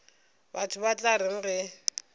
batho ba tla reng ge